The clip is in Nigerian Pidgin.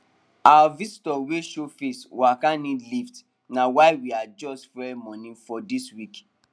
our visitor wey show face waka need lift na why we adjust fuel money for dis week